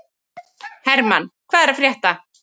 Hermann, hvað er að frétta?